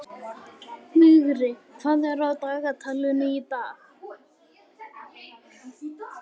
Vigri, hvað er á dagatalinu í dag?